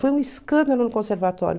Foi um escândalo no conservatório.